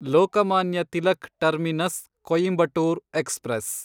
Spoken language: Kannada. Lokmanya Tilak terminus Coimbatore express